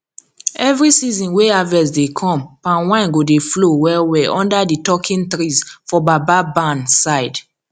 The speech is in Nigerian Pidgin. every season wey harvest dey come palm wine go dey flow wellwell under di talking trees for baba barn side